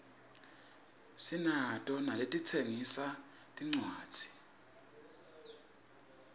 sinato naletitsengisa tincuadzi